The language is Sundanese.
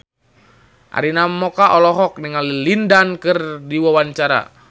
Arina Mocca olohok ningali Lin Dan keur diwawancara